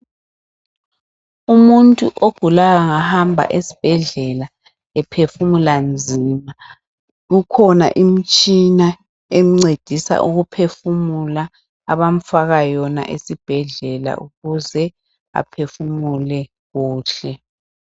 Umuntu ogulayo angahamba esibhedlela ephefumula nzima kukhona imtshina emncedisa ukuphefumula abamfaka yona esibhedlela ukuze aphefumule kuhle.